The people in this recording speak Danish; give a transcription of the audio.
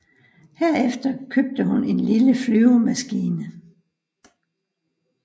Herefter købte hun en lille flyvemaskine